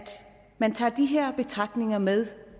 man tager de her betragtninger med